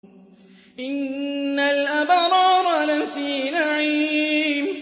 إِنَّ الْأَبْرَارَ لَفِي نَعِيمٍ